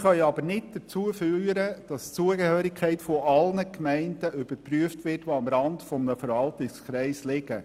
Sie können aber nicht dazu führen, dass die Zugehörigkeit aller am Rand eines Verwaltungskreises liegender Gemeinden überprüft wird.